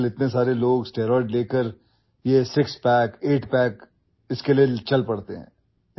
آج کل، بہت سے لوگ اسٹیرائڈز لیتے ہیں اور 6پیک یا 8پیک کا سہارا لیتے ہیں